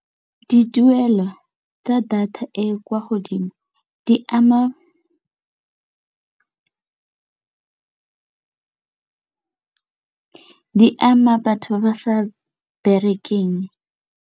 Dituelo tsa data e e kwa godimo di ama batho ba ba sa berekeng.